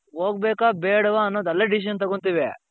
ಹೋಗ್ಬೇಕ ಬೇಡ್ವ ಅನ್ನೋದು ಅಲ್ಲೇ decision ತಗೋತೀವಿ.